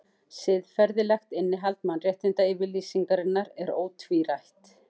Siðferðilegt innihald Mannréttindayfirlýsingarinnar er ótvírætt.